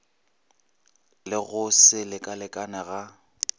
le go se lekalekane ga